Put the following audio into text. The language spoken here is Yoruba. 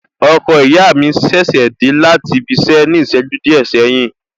Ọkọ ìyá mi ṣẹ̀ṣẹ̀ dé láti ibi iṣẹ ní ìṣẹ́jú díẹ̀ sẹ́yìn ni